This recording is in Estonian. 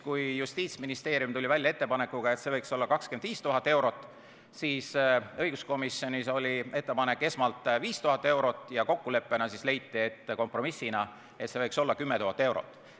Kui Justiitsministeerium tuli välja ettepanekuga, et see võiks olla 25 000 eurot, siis õiguskomisjonis oli esmalt ettepanek 5000 eurot ja kokkuleppena, kompromissina leiti, et see võiks olla 10 000 eurot.